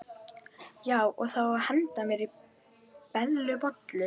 Já, og það á að henda mér í Bellu bollu.